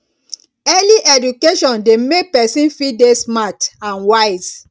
early education de make persin fit de smart and wise